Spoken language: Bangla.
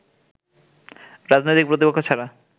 রাজনৈতিক প্রতিপক্ষ ছাড়া